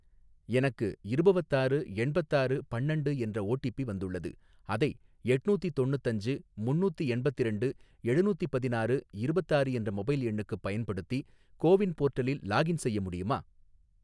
எனக்கு இருபவத்தாறு எண்பத்தாறு பன்னண்டு என்ற ஓடிபி வந்துள்ளது, அதை எட்நூத்தி தொண்ணுத்தஞ்சு முன்னூத்தி எண்பத்திரண்டு எழுநூத்தி பதினாறு இருபத்தாறு என்ற மொபைல் எண்ணுக்குப் பயன்படுத்தி கோ வின் போர்ட்டலில் லாகின் செய்ய முடியுமா?